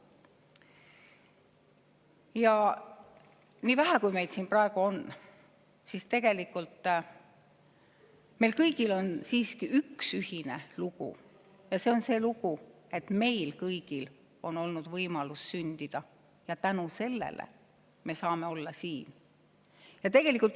Ja nii vähe, kui meid siin praegu on, siis tegelikult meil kõigil on üks ühine lugu: meil kõigil on olnud võimalus sündida ja tänu sellele me saame siin olla.